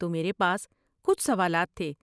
تو میرے پاس کچھ سوالات تھے۔